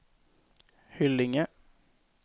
Hyllinge